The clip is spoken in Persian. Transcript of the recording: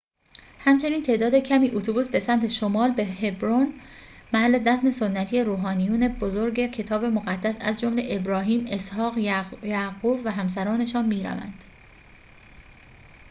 همچنین تعداد کمی اتوبوس به سمت شمال به هبرون محل دفن سنتی روحانیون بزرگ کتاب مقدس از جمله ابراهیم اسحاق یعقوب و همسرانشان می روند